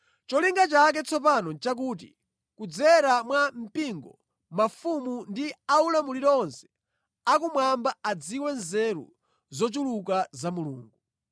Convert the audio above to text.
Cholinga chake tsopano nʼchakuti, kudzera mwa mpingo, mafumu ndi a ulamuliro onse a kumwamba adziwe nzeru zochuluka za Mulungu.